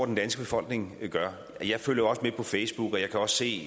den danske befolkning gør jeg følger jo også med på facebook og jeg kan også se